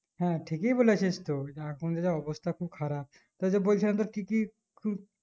হ্যাঁ ঠিকই বলেছিস টু এখন যে অবস্থা খুব খারাপ তো যে বলছিলাম তোর কি কি কেউ